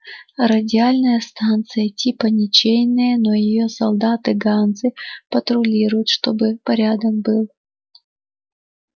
радиальная станция типа ничейная но её солдаты ганзы патрулируют чтобы порядок был